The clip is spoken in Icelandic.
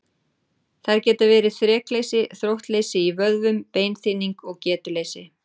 Þær geta verið þrekleysi, þróttleysi í vöðvum, beinþynning og getuleysi.